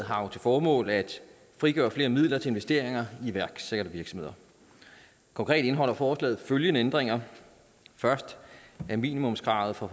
har jo til formål at frigøre flere midler til investeringer i iværksættervirksomheder konkret indeholder forslaget følgende ændringer at minimumskravet for